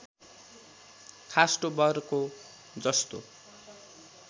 खास्टो बर्को जस्तो